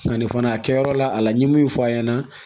Nka nin fana a kɛyɔrɔ la a la n ye min fɔ a ɲɛna